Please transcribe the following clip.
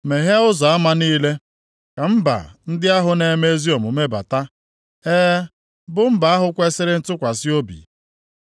Meghee ụzọ ama niile, ka mba ndị ahụ na-eme ezi omume bata, e, bụ mba ahụ kwesiri ntụkwasị obi.